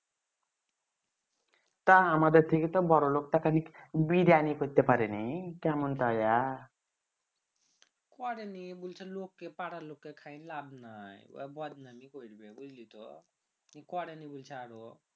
তা আমাদের থেকে বড়ো লোক তা কে করেনি বলছে যে লোক কে পাড়ার লোক কে খাইন লাভ নাই বদনাম এ করে দিবে বুঝলি তো করেনি বলছে আরো